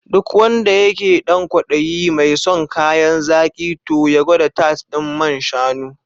Duk wanda yake dan kwaɗayi mai son kayan zaki toh ya gwada tart ɗin man shanu.